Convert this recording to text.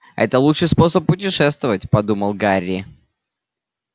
это лучший способ путешествовать подумал гарри